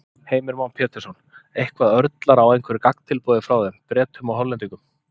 Heimir Már Pétursson: Eitthvað, örlar á einhverju gagntilboði frá þeim, Bretum og Hollendingum?